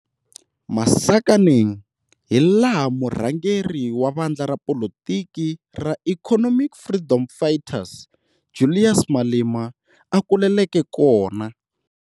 Masakaneng, hilaha murhangeri wavandla ra politiki ra Economic Freedom Fighters, Julius Malema a kuleleke kona.